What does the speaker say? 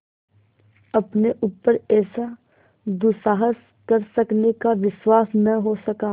अपने ऊपर ऐसा दुस्साहस कर सकने का विश्वास न हो सका